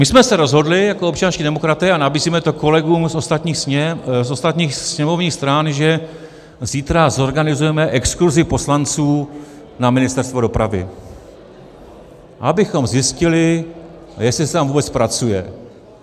My jsme se rozhodli jako občanští demokraté a nabízíme to kolegům z ostatních sněmovních stran, že zítra zorganizujeme exkurzi poslanců na Ministerstvo dopravy, abychom zjistili, jestli se tam vůbec pracuje.